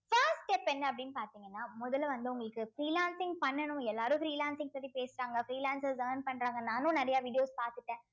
first step என்ன அப்படின்னு பார்த்தீங்கன்னா முதல்ல வந்து உங்களுக்கு freelancing பண்ணணும் எல்லாரும் freelancing பத்தி பேசுறாங்க freelancers earn பண்றாங்க நானும் நிறைய videos பாத்துட்டேன்